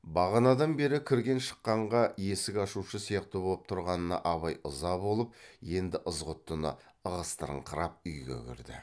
бағанадан бері кірген шыққанға есік ашушы сияқты боп тұрғанына абай ыза болып енді ызғұттыны ығыстырыңқырап үйге кірді